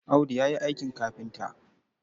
Audu ya yi aikin kafinta.